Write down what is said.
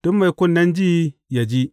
Duk mai kunnen ji, yă ji.